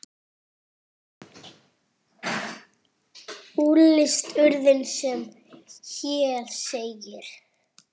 Úrslit urðu sem hér segir